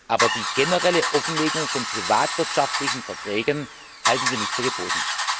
Aber die generelle Offenlegung von privatwirtschaftlichen Verträgen halten wir nicht für geboten.